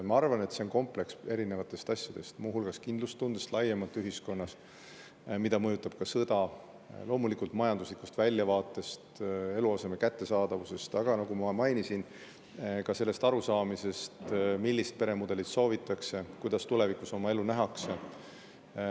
Ma arvan, et see on komplekt erinevatest asjadest: kindlustundest laiemalt ühiskonnas, mida mõjutab ka sõda, loomulikult majanduslikust väljavaatest, eluaseme kättesaadavusest, aga nagu ma ka mainisin, sellest arusaamisest, millist peremudelit soovitakse, kuidas tulevikus oma elu nähakse.